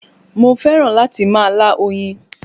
Mo fẹ́ràn láti máa lá oyin